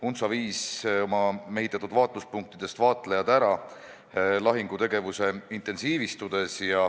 UNTSO viis oma mehitatud vaatluspunktidest vaatlejad ära lahingutegevuse intensiivistudes.